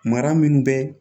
Mara minnu bɛ